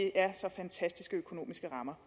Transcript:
er så fantastiske økonomiske rammer